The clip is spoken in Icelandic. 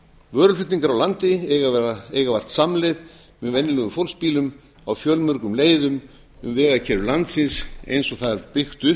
vöruflutningar á landi eiga vart samleið með venjulegum fólksbílum á fjölmörgum leiðum um vegakerfi landsins eins og það er byggt upp